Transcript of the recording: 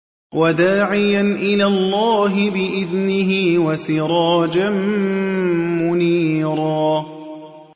وَدَاعِيًا إِلَى اللَّهِ بِإِذْنِهِ وَسِرَاجًا مُّنِيرًا